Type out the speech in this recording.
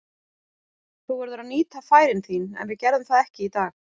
Þú verður að nýta færin þín, en við gerðum það ekki í dag.